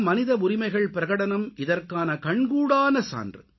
மனித உரிமைகள் பிரகடனம் இதற்கான கண்கூடான சான்று